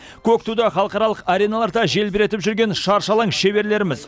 көк туды халықаралық ареналарда желбіретіп жүрген шаршы алаң шеберлеріміз